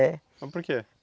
É. Mas por quê?